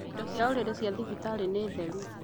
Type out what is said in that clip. Indo cia ũrĩrĩ cia thibitarĩ nĩ theru